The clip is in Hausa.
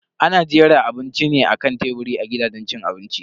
Ana jera abinci ne akan teburi a gidajen cin abinci.